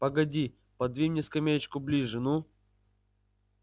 погоди подвинь мне скамеечку ближе ну